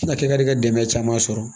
Na kɛ ka di ka dɛmɛ caman sɔrɔ